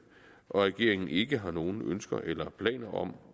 og at regeringen ikke har nogen ønsker eller planer om